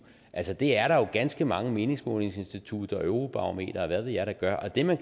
altså det er der jo ganske mange meningsmålingsinstitutter eurobarometer og hvad ved jeg der gør og det man